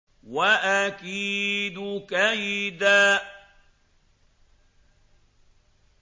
وَأَكِيدُ كَيْدًا